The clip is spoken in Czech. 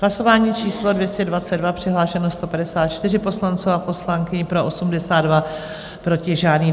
Hlasování číslo 222, přihlášeno 154 poslanců a poslankyň, pro 82, proti žádný.